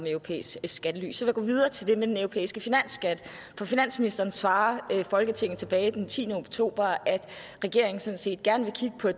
europæisk skattely så vil jeg gå videre til det med den europæiske finansskat for finansministeren svarer folketinget tilbage den tiende oktober at regeringen sådan set gerne